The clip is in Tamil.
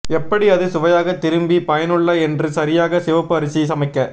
எப்படி அது சுவையாக திரும்பி பயனுள்ள என்று சரியாக சிவப்பு அரிசி சமைக்க